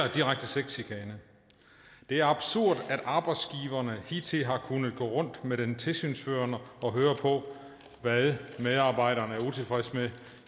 direkte sexchikane det er absurd at arbejdsgiverne hidtil har kunnet gå rundt med den tilsynsførende og høre på hvad medarbejderen er utilfreds med